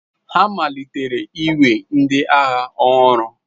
Ha amalitela iwe ndị agha ọhụrụ.